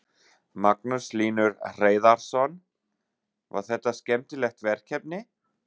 Magnús Hlynur Hreiðarsson: Var þetta skemmtilegt verkefni?